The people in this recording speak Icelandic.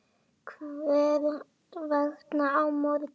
Hvers vegna á morgun?